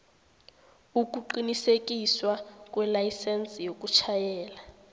ukuqinisekiswa kwelayisense yokutjhayela